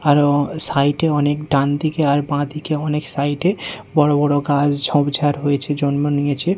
আরো সাইটে -এ অনেক ডানদিকে আর বাঁদিকে অনেক সাইড -এ বড়ো বড়ো গাছ ঝোপঝাড় হয়েছে জন্ম নিয়েছে।